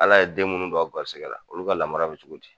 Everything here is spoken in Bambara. Ala ye den minnu don aw gɛrisɛgɛ la olu ka lamara bɛ cogo di?